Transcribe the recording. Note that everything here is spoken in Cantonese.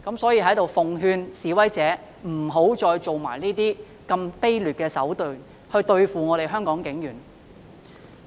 所以，在這裏奉勸示威者，不要再以這種卑劣的手段來對付香港警察。